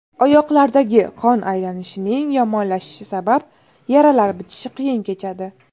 Oyoqlardagi qon aylanishining yomonlashishi sabab yaralar bitishi qiyin kechadi.